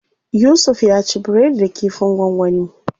Yusuf ya ci biredi da kifin gwangwani.